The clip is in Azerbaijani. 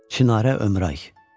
Çinarə Ömray.